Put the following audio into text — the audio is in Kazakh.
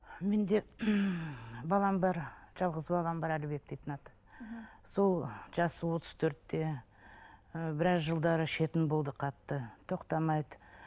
менде балам бар жалғыз балам бар әлібек дейтін аты сол жасы отыз төртте і біраз жылдар ішетін болды қатты тоқтамайды